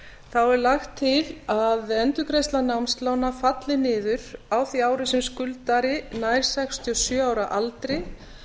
er lagt til að endurgreiðsla námslána falli niður á því ári sem skuldari nær sextíu og sjö ára aldri